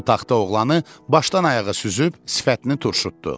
O taxta oğlanı başdan ayağa süzüb sifətini turşutdu.